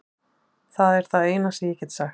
Það er það eina sem ég get sagt.